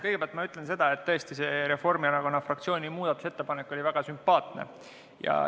Kõigepealt ütlen, et tõesti see Reformierakonna fraktsiooni muudatusettepanek oli väga sümpaatne.